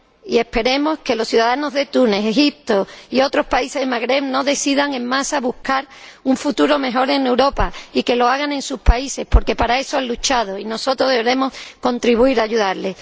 Y esperemos que los ciudadanos de Egipto, Túnez y otros países del Magreb no decidan en masa buscar un futuro mejor en Europa sino que lo hagan en sus países, porque para eso han luchado, y nosotros deberemos contribuir a ayudarles.